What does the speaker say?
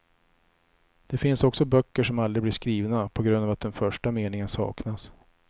Det finns också böcker som aldrig blir skrivna, på grund av att den första meningen saknas.